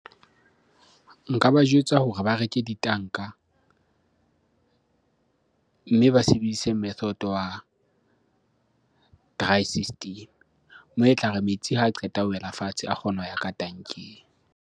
Nka ba jwetsa hore ba reke ditanka mme ba sebedise method wa dry system. Moo etlare metsi ha qeta ho wela fatshe a kgone ho ya ka tank-eng.